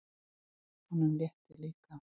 Honum létti líka.